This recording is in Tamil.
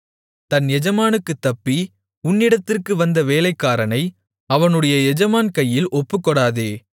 தன் எஜமானுக்குத் தப்பி உன்னிடத்திற்கு வந்த வேலைக்காரனை அவனுடைய எஜமான் கையில் ஒப்புக்கொடாதே